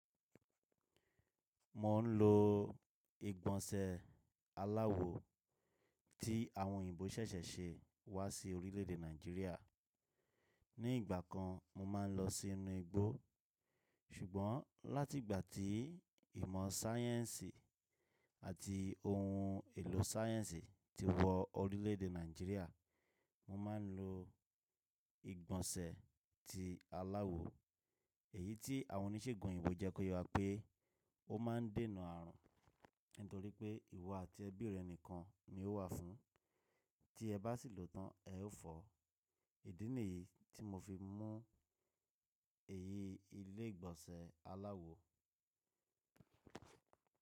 Mo n lo ìgbọ̀nsẹ̀ aláwo tí àwọn òyìnbó ṣẹ̀ṣẹ̀ ṣe wá sí orílẹ̀èdè Nàìjíríà. Ní ìgbà kan mo máa n lọ sínú igbó ṣùgbọ́n láti ìgbà tí ìmọ̀ sáyẹ́ǹsì àti ohun èlò sáyẹ́ǹsì ti wọ orílẹ̀èdè Nàìjíríà mo ma n lo ìgbọ̀nsẹ̀ tí aláwo èyí tí àwọn oníṣègùn òyìnbó jẹ́ kó yè wà pé. Ó ma n dènà ààrùn nítorí pé ìwọ àti ẹbí rẹ nìkan ni ó wà fún, tí ẹ bá sì lòó tán ẹ ó fọ́. Ìdí nìyí tí mo fi mú èyí ilé ìgbọ̀nsẹ̀ aláwo.